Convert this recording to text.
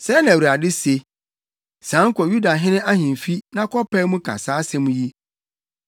Sɛɛ na Awurade se, “Sian kɔ Yudahene ahemfi na kɔpae mu ka saa asɛm yi: